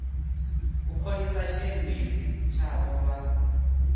u khonisa tshiendisi tshavho vha